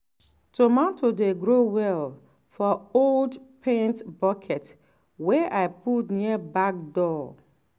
tomato dey grow well for old paint bucket wey i put near back door.